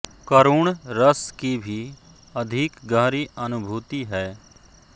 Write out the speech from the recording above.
करुण रस की भी अधिक गहरी अनुभूति है